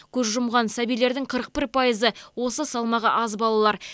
көз жұмған сәбилердің қырық бір пайызы осы салмағы аз балалар